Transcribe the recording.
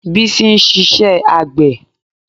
Bísí ń ṣiṣẹ́ àgbẹ̀